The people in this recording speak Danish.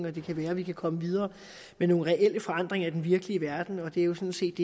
og det kan være at vi kan komme videre med nogle reelle forandringer i den virkelige verden og det er jo sådan set